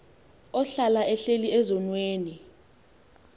ohlala ehleli ezonweni